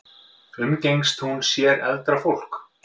Umgengst hún sér eldra fólk?